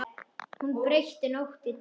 Hún breytti nótt í dag.